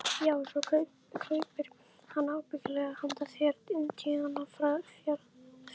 Já, svo kaupir hann ábyggilega handa þér indíánafjaðrir.